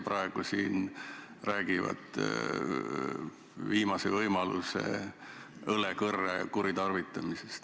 Praegu räägivad nad siin viimase võimaluse, õlekõrre kuritarvitamisest.